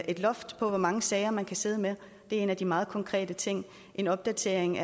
et loft over hvor mange sager man kan sidde med det er en af de meget konkrete ting en opdatering